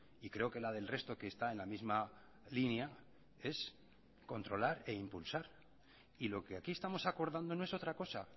y creo que la del resto que está en la misma línea es controlar e impulsar y lo que aquí estamos acordando no es otra cosa